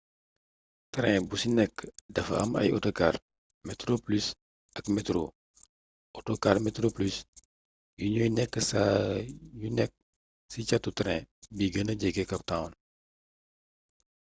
train bu ci nekk dafa am ay autocar metroplus ak metro autocar metroplus yi ñooy nekk saa yu nekk ci catu train bi gëna jege cap town